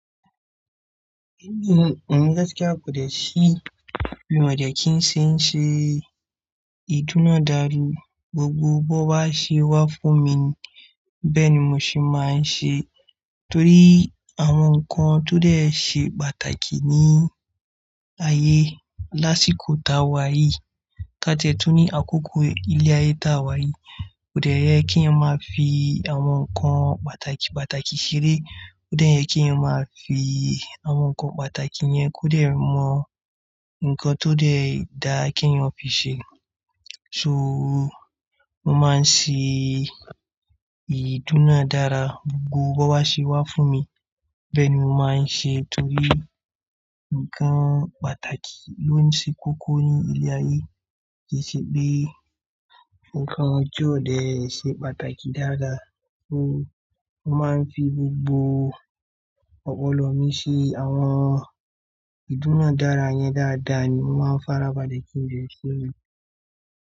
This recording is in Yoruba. Ẹ̀mi gaskia kò dẹ̀ sí bí mo dẹ̀ kí ń ṣe ń ṣe ìdúnadàrú. Gbogbo bó bá ṣe wá fún mi bẹ́ẹ̀ ni mo sì máa ń ṣe torí àwọn nǹkan tó dẹ̀ ṣe pàtàkì ní ayé lásìkò tawa yìí ká ti tó ní àkókò ilé ayé ti awa yìí kò dẹ̀ yẹ kí a máa fi àwọn nǹkan pàtàkì pàtàkì ṣeré, kò dẹ̀ yẹ kí a máa fi àwọn nǹkan pàtàkì yẹn kò dẹ̀ mọ nǹkan tó dẹ̀ dáa kí èèyàn fi ṣe. So mo máa ń ṣe ìdúnadàra gbogbo bó bá ṣe wá fún mi bẹ́ẹ̀ ni mo máa ń ṣe torí nǹkan pàtàkì ló ń ṣe kókó ní ilé ayé. Kì í ṣe pé nǹkan ojú òde ṣe pàtàkì dáadáa. So mo máa ń fi gbogbo ọpọlọ mi ṣe àwọn ìdúnadàra yẹn dáadáa ni mo máa ń farabalẹ̀ kí ń le sí mí.